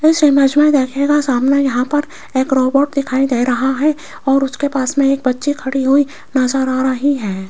इस इमेज में देखिएगा सामने यहां पर एक रोबोट दिखाई दे रहा है और उसके पास में एक बच्ची खड़ी हुई नजर आ रही है।